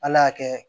Ala y'a kɛ